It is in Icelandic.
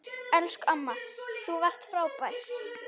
Elsku amma, þú varst frábær.